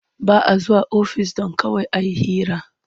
Ba a zuwa ofis don kawai a yi hira.